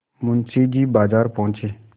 मुंशी जी बाजार पहुँचे